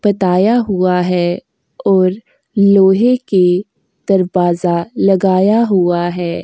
बताया हुआ है और लोहे के दरवाज़ा लगाया हुआ है।